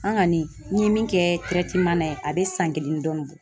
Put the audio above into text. An kɔni n ye min kɛ yen a bɛ san kelen ni dɔɔnin bɔ .